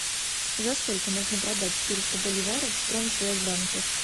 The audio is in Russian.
за сколько можно продать четыреста боливаров в промсвязьбанке